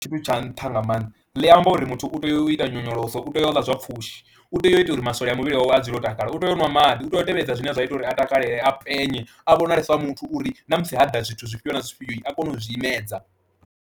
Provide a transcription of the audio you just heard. tshithu tsha nṱha nga maanḓa ḽi amba uri muthu u tea u ita nyonyoloso, u tea u ḽa zwa pfhushi, u tea u ita uri masole a muvhili wawe a dzule o takala, u tea u ṅwa maḓi, u tea u tevhedza zwine zwa ita uri a takale a penye a vhonale sa muthu uri na musi ha ḓa zwithu zwifhio na zwifhio a kone u zwi imedza.